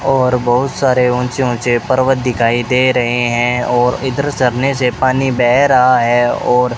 और बहुत सारे ऊंचे ऊंचे पर्वत दिखाई दे रहे हैं और इधर झरने से पानी बह रहा है और --